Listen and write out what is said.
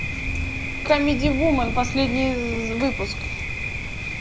камеди вумен последний выпуск